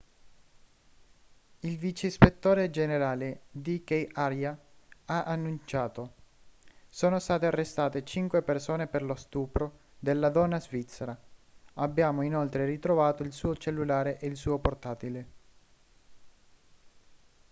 il vice ispettore generale dk arya ha annunciato sono state arrestate cinque persone per lo stupro della donna svizzera abbiamo inoltre ritrovato il suo cellulare e il suo portatile